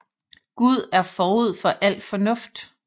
Gud er forud for al fornuft